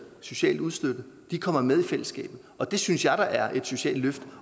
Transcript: socialt udstødt kommer med i fællesskabet og det synes jeg da er et socialt løft